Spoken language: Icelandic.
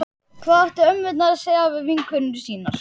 Hvað áttu ömmurnar að segja við vinkonur sínar?